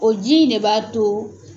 O ji in de b'a to.